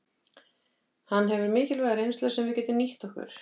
Hann hefur mikilvæga reynslu sem við getum nýtt okkur.